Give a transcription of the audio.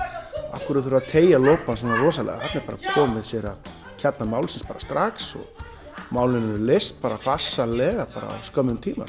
af hverju þarf að teygja lopann svona rosalega þarna er bara komið sér að kjarna málsins bara strax og málin eru leyst bara farsællega á skömmum tíma